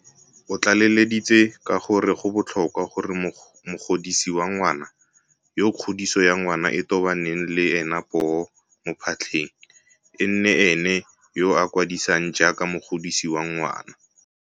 O tlaleleditse ka gore go botlhokwa gore mogodisi wa ngwana, yo kgodiso ya ngwana e tobaneng le ena poo mo phatlheng, e nne ene yo a kwadisiwang jaaka mogodisi wa ngwana.